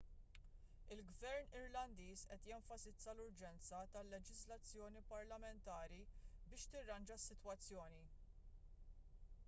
il-gvern irlandiż qed jenfasizza l-urġenza tal-leġiżlazzjoni parlamentari biex tirranġa s-sitwazzjoni